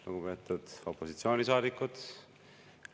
Lugupeetud opositsioonisaadikud!